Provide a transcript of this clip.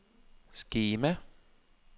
skema